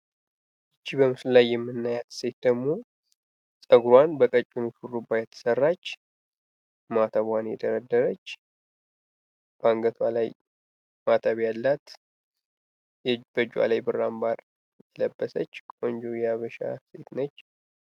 ይች በምስሉ ላይ የምናያት ሴት ደግሞ ጸጉሯን በቀጭን ሹርባ የተሰራች ማተቧን የደረደረች በአንገቷ ላይ ማተብ ያላት በእጇ ላይ ብር አምባር የለበሰች ቆንጆ የሀበሻ ሴት ነች።